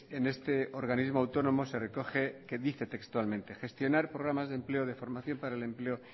en este organismo autónomo se recoge que y dice textualmente gestionar programas de empleo de formación para el empleo